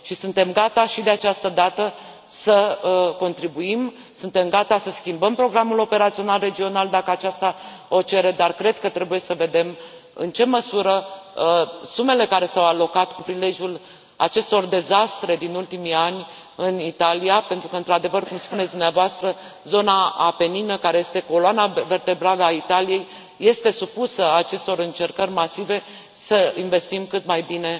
Și suntem gata, și de această dată, să contribuim, suntem gata să schimbăm programul operațional regional, dacă aceasta o cere, dar cred că trebuie să vedem în ce măsură sumele care s au alocat cu prilejul acestor dezastre din ultimii ani în Italia, pentru că într adevăr, cum spuneți dumneavoastră, zona apenină, care este coloana vertebrală a Italiei, este supusă acestor încercări masive, să investim cât mai bine